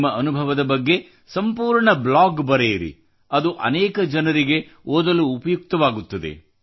ನಿಮ್ಮ ಅನುಭವದ ಬಗೆಗೆ ಸಂಪೂರ್ಣ ಬ್ಲಾಗ್ ಬರೆಯಿರಿ ಅದು ಅನೇಕ ಜನರಿಗೆ ಓದಲು ಉಪಯುಕ್ತವಾಗುತ್ತದೆ